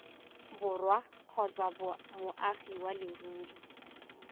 borwa kgotsa moagi wa leruri